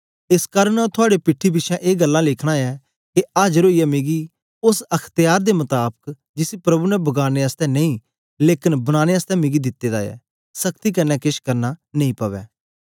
एस कारन आंऊँ थुआड़े पीठी पिछें ए गल्लां लिखना ऐ के आजर ओईयै मिकी ओस अख्त्यार दे मताबक जिसी प्रभु ने बगाड़ने आसतै नेई लेकन बनाने आसतै मिकी दिते दा ऐ सख्ती कन्ने केछ करना नेई पवै